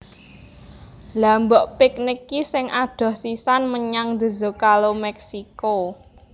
Lha mbok piknik ki sing adoh sisan menyang The Zocalo Meksiko